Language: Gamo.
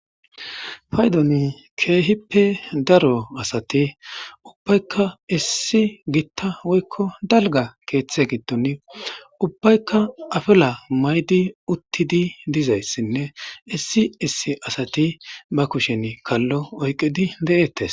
Paydoni kehipe daro asati ubayika daro woyko dalgaketa keethe gidon utidi ubayika afala mayidi ne. Isi issi sati ba kushen kalo oyqid detes.